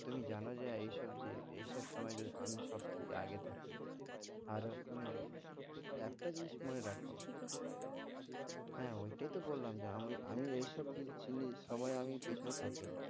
তুমি জানো যে এই সব জি~ এই সব সময় যদি আমি সব থেকে আগে থাকি। আর মানে একটা জিনিস মনে রাখ। হ্যাঁ ঐটাই তো বললাম যে আমি আমি ঐ বি~ জিনিসের সময় আমি পেছনে থাকি না।